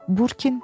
Burkin.